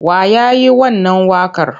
Wa ya yi wannan waƙar?